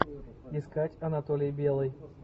искать анатолий белый